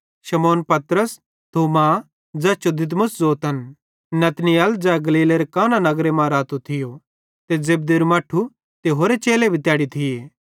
शमौन पतरस थोमा ज़ैस जो दिदुमुस ज़ोतन नतनएल ज़ै गलीलेरे काना नगर मां रातो थियूं ते जेब्देरू मट्ठू ते होरे चेले भी तैड़ी थिये